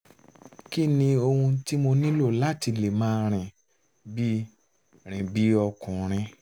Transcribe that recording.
kí ni ohun um tí mo nílò láti lè máa rìn bí rìn bí ọkùnrin